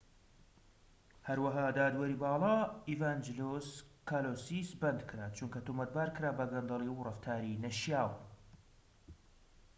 هەروەها دادوەری باڵا ئیڤانجیلۆس کالۆسیس بەندکرا چونکە تۆمەتبارکرا بە گەندەلی و ڕەفتاری نەشیاو